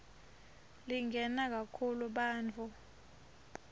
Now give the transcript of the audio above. lingena kakhulu bantfu